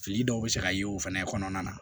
Fili dɔw bɛ se ka ye o fɛnɛ kɔnɔna na